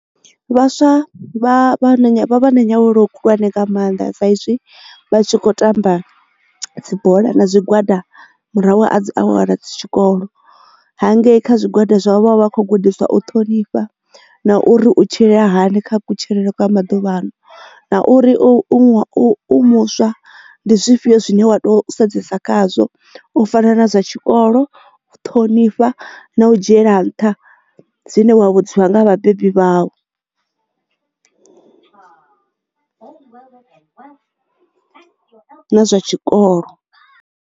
Vhaswa vha vha vha na nyaluwo khulwane nga maanḓa saizwi vha tshi kho tamba dzibola na zwigwada murahu a dzi awara dzi tshikolo ha ngei kha zwigwada zwa vha vha vha vha kho gudiswa o ṱhonifha na uri u tshila hani kha kutshilele kwa maḓuvhano na uri u ṅwa u muswa ndi zwifhio zwine wa to sedzesa khazwo u fana na zwa tshikolo, ṱhonifha na u dzhiela nṱha zwine wa vhudziwa nga ha vhabebi vhau na nga zwa tshikolo.